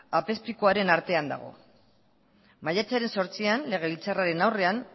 apezpikuaren artean dago maiatzaren zortzian legebiltzarraren aurrean